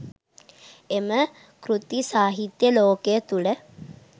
එම කෘති සාහිත්‍ය ලෝකය තුළ